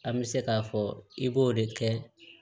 An bɛ se k'a fɔ i b'o de kɛ